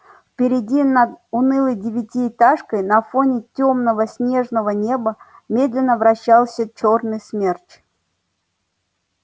впереди над унылой девятиэтажкой на фоне тёмного снежного неба медленно вращался чёрный смерч